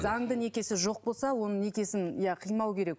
заңды некесі жоқ болса оның некесін иә қимау керек